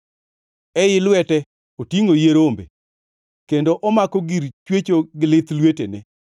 Ei lwete otingʼo yie rombe kendo omako gir chwecho gi lith lwetene.